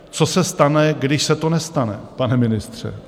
Co se stane, když se to nestane, pane ministře?